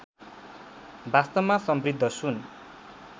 वास्तवमा समृद्ध सुन